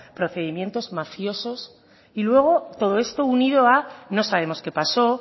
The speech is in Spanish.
procedimientos mafiosos y luego todo esto unido a no sabemos qué pasó